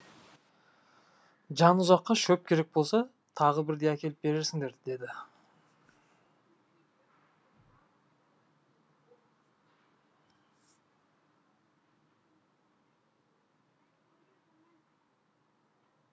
жанұзаққа шөп керек болса тағы бірде әкеліп берерсіңдер деді